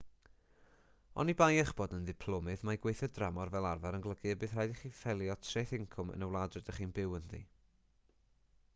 oni bai eich bod yn ddiplomydd mae gweithio dramor fel arfer yn golygu y bydd rhaid i chi ffeilio treth incwm yn y wlad rydych chi'n byw ynddi